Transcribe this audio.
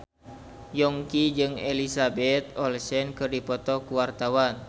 Yongki jeung Elizabeth Olsen keur dipoto ku wartawan